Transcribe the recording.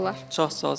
Çox sağ ol sənə də.